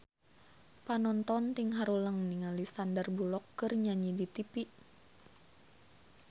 Panonton ting haruleng ningali Sandar Bullock keur nyanyi di tipi